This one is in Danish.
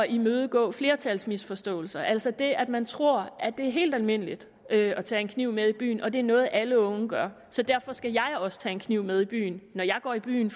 imødegå flertalsmisforståelser altså det at man tror at det er helt almindeligt at at tage en kniv med i byen og at det er noget alle unge gør derfor skal jeg også tage en kniv med byen når jeg går i byen